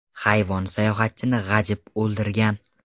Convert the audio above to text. Hayvon sayohatchini g‘ajib, o‘ldirgan.